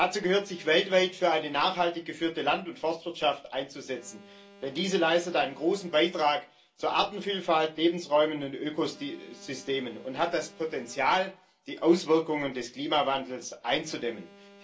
Dazu gehört, sich weltweit für eine nachhaltig geführte Land und Forstwirtschaft einzusetzen, denn diese leistet einen großen Beitrag zu Artenvielfalt, Lebensräumen und Ökosystemen und hat das Potenzial, die Auswirkungen des Klimawandels einzudämmen.